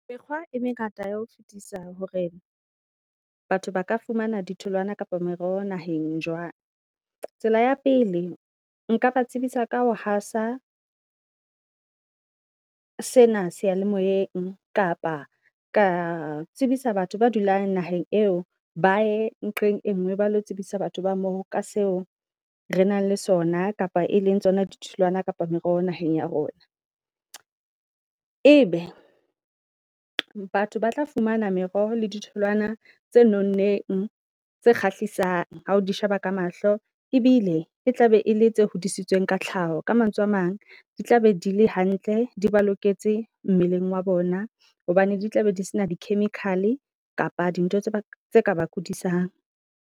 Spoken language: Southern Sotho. Mekgwa e mengata ya ho fetisa hore batho ba ka fumana di tholwana kapa meroho naheng jwang. Tsela ya pele nka ba tsebisa ka ho hasa sena seyalemoyeng kapa ka tsebisa batho ba dulang naheng eo. Bae nqeng e ngwe ba lo tsebisa batho ba mo ka seo re nang le sona, kapa e leng tsona di tholwana kapa meroho naheng ya rona. E be batho ba tla fumana meroho le ditholwana tse nonneng tse kgahlisang hao di sheba ka mahlo ebile e tlabe e le tse hodisitsweng ka tlhaho. Ka mantswe a mang di tla be di le hantle di ba loketse mmeleng wa bona, hobane di tla be di se na di-chemical kapa di ntho tse ka ba kodisang.